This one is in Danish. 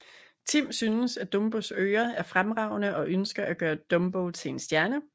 Tim synes at Dumbos ører er fremragende og ønsker at gøre Dumbo til en stjerne